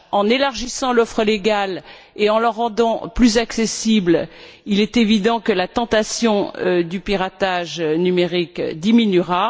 En élargissant l'offre légale et en la rendant plus accessible, il est évident que la tentation du piratage numérique diminuera